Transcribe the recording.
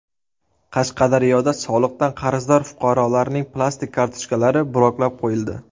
Qashqadaryoda soliqdan qarzdor fuqarolarning plastik kartochkalari bloklab qo‘yildi.